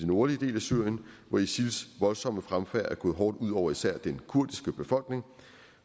nordlige del af syrien hvor isils voldsomme fremfærd er gået hårdt ud over især den kurdiske befolkning